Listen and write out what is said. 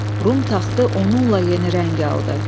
Rum taxtı onunla yeni rəng aldı.